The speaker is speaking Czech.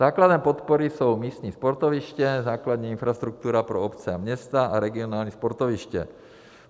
Základem podpory jsou místní sportoviště, základní infrastruktura pro obce a města a regionální sportoviště.